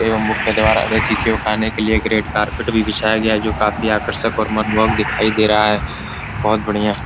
एवं मुख्य द्वार अतिथियों के आने के लिए एक रेड कारपेट भी बिछाया गया है जो काफी आकर्षक और मनमोहक दिखाई दे रहा है बहोत बढ़िया।